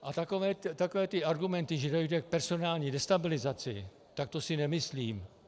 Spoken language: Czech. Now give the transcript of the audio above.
A takové ty argumenty, že dojde k personální destabilizaci, tak to si nemyslím.